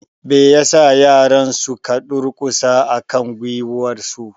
Me ya sa yaran su ka durƙusa a kan gwiwarsu?